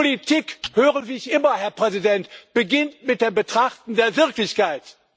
Politik so höre ich immer, Herr Präsident, beginnt mit dem Betrachten der Wirklichkeit.